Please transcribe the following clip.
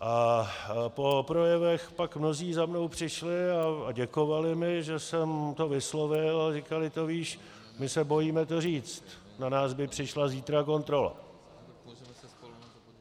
A po projevech pak mnozí za mnou přišli a děkovali mi, že jsem to vyslovil, a říkali: to víš, my se bojíme to říct, na nás by přišla zítra kontrola.